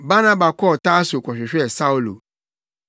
Barnaba kɔɔ Tarso kɔhwehwɛɛ Saulo.